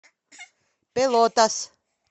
пелотас